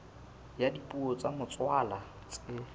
ya dipuo tsa motswalla tse